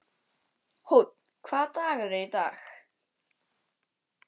Húnn, hvaða dagur er í dag?